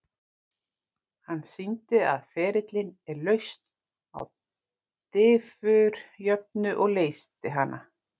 Hann sýndi að ferillinn er lausn á diffurjöfnu og leysti hana.